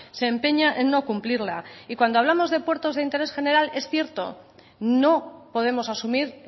se empeña en no cumplirla y cuando hablamos de puertos de interés general es cierto no podemos asumir